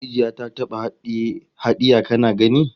Maciji ya taba hadiya kana gani?